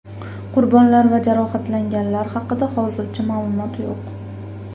Qurbonlar va jarohatlanganlar haqida hozircha ma’lumot yo‘q.